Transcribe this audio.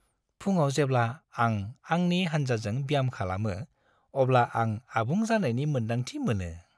फुंआव जेब्ला आं आंनि हान्जाजों ब्याम खालामो, अब्ला आं आबुं जानायनि मोन्दांथि मोनो।